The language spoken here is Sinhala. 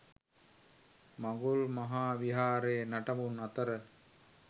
මඟුල් මහා විහාරයේ නටබුන් අතර